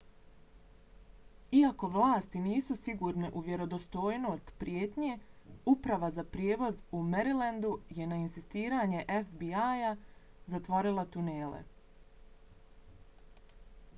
iako vlasti nisu sigurne u vjerodostojnost prijetnje uprava za prijevoz u marylandu je na insistiranje fbi-a zatvorila tunele